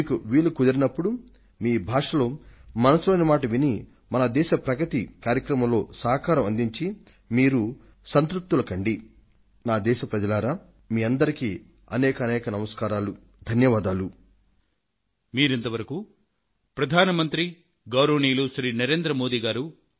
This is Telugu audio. మీకు వీలు కుదిరినప్పుడు మీ భాషలో మనసులో మాటను వినడం ద్వారా మీరు సైతం మీ సంకల్పం తీసుకొని మన దేశ పురోగతి కార్యక్రమంలో మీ వంతు సహకారాన్ని అందించగలుగుతారు